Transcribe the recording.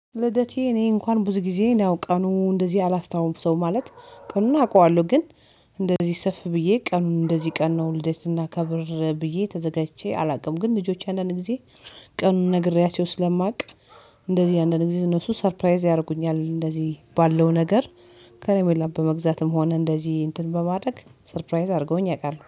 ልደቴ እኔ እንኳን ብዙ ጊዜ ያው ቀኑ እንደዚህ አላስታውሰውም። ማለት ቀኑን አውቃለሁ። ግን እንደዚህ ሰፍ ብዬ ቀኑን እንደዚህ ቀን ነው ልደት እናከብር ብዬ ተዘጋጅቼ አላውቅም። ግን ልጆቼ አንዳንድ ግዜ ቀኑን ነግሬያቸው ስለማውቅ እንደዚህ አንዳንዴ እነሱ ሰርፕራይዝ ያደርጉኛል እንደዚህ ባለው ነገር። ከረሜላ በመግዛትም ሆነ እንደዚህ እንትን በማድረግ ሰርፕራይዝ አድርገውኝ ያውቃሉ